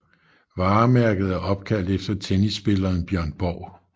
Varemærket er opkaldt efter tennisspilleren Björn Borg